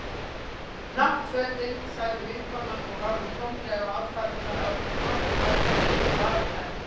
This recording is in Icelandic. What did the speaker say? Náttfötin. sagði vinkonan og horfði tómlega á aðfarirnar áður en glottið færðist yfir varir hennar.